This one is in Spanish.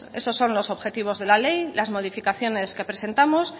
esos son los objetivos de la ley las modificaciones que presentamos